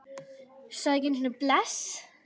Sagði ekki einu sinni bless.